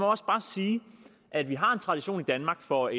også bare sige at vi har en tradition i danmark for